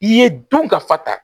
I ye don ka fa ta